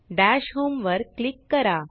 दश homeवर क्लीक करा